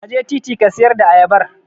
Ka je titi ka siyar da ayabar.